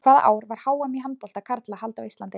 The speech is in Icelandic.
Hvaða ár var HM í handbolta karla haldið á Íslandi?